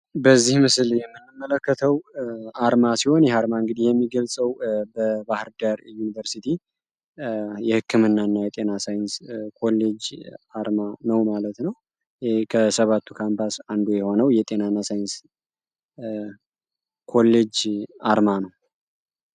በዚህ ምስል የምንመለከተው አርማ ሲሆን ይህ አርማ የሚገልፀው በባህርዳር ዳር ዮኒቨርስቲ የህክምናና ጤና ሳይንስ ኮሌጅ አርማ ነው ማለት ነው። ከሰባቱ ካምፓስ አንዱ የሆነው የጤና እና ሳይንስ ኮሌጅ አርማ ነው።